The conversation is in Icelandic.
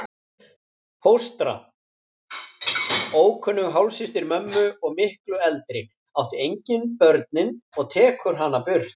Fóstra, ókunnug hálfsystir mömmu og miklu eldri, átti engin börnin og tekur hana burt.